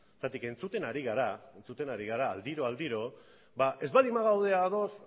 zergatik entzuten ari gara entzuten ari gara aldiro aldiro ez baldin bagaude ados